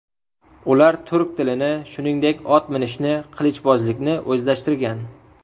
Ular turk tilini, shuningdek, ot minishni, qilichbozlikni o‘zlashtirgan.